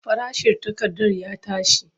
Farashin takarda ya tashi.